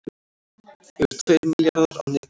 Yfir tveir milljarðar á netinu